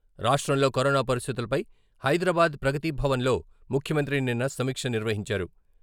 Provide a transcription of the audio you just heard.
రాష్ట్రంలో కరోనా పరిస్థితులపై హైదరాబాద్ ప్రగతిభవన్ లో ముఖ్యమంత్రి నిన్న సమీక్ష నిర్వహించారు.